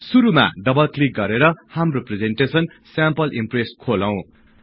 शुरुमा double click गरेर हाम्रो presentation sample Impress खोलौं